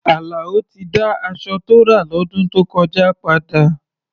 Àlàó ti dá aṣọ tó rà lọ́dún tó kọjá padà.